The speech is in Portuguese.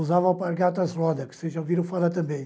Usava gatas rodas, que vocês já ouviram falar também.